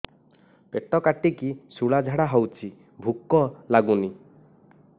ପେଟ କାଟିକି ଶୂଳା ଝାଡ଼ା ହଉଚି ଭୁକ ଲାଗୁନି